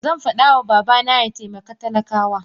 Zanfada ma babana yataimaka talaka wa.